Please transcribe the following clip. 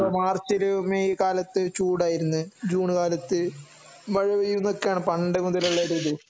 മാർച്ചില് May കാലത്ത് ചൂട് ആയിരുന്നു ജൂൺ കാലത്ത് മഴ പെയ്യുന്നു എന്നു ഒക്കെ ആണ് പണ്ട് മുതലുള്ള ഒരു ഇത്